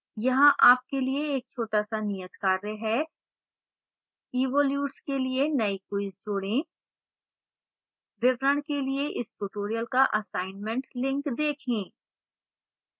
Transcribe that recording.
यहां आपके लिए एक छोटा सा नियतकार्य है